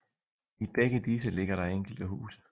I begge disse ligger der enkelte huse